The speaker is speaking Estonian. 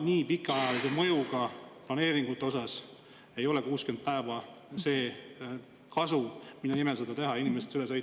Nii pikaajalise mõjuga planeeringute osas ei ole 60 päeva see kasu, mille nimel võiks seda teha ja inimestest üle sõita.